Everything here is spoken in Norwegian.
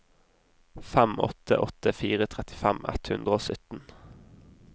fem åtte åtte fire trettifem ett hundre og sytten